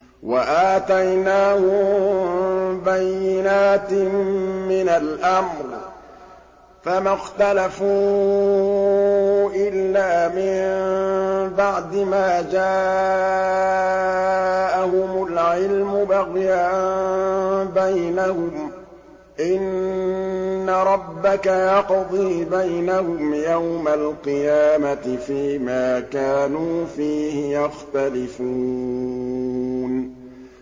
وَآتَيْنَاهُم بَيِّنَاتٍ مِّنَ الْأَمْرِ ۖ فَمَا اخْتَلَفُوا إِلَّا مِن بَعْدِ مَا جَاءَهُمُ الْعِلْمُ بَغْيًا بَيْنَهُمْ ۚ إِنَّ رَبَّكَ يَقْضِي بَيْنَهُمْ يَوْمَ الْقِيَامَةِ فِيمَا كَانُوا فِيهِ يَخْتَلِفُونَ